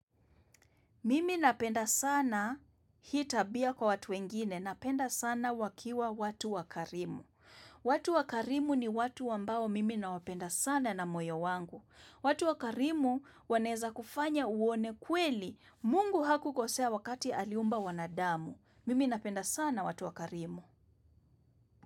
Mimi napenda sana hii tabia kwa watu wengine. Napenda sana wakiwa watu wakarimu. Watu wakarimu ni watu wambao mimi nawapenda sana na moyo wangu. Watu wakarimu wanaweza kufanya uone kweli. Mungu hakukosea wakati aliumba wanadamu. Mimi napenda sana watu wakarimu.